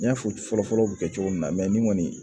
N y'a fɔ fɔlɔ fɔlɔ bɛ kɛ cogo min na nin kɔni